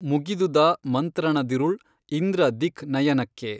ಮುಗಿದುದಾ ಮಂತ್ರಣದಿರುಳ್ ಇಂದ್ರ ದಿಕ್ ನಯನಕ್ಕೆ